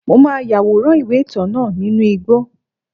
Mo ma yaworan iwe-itan náá ninú igbó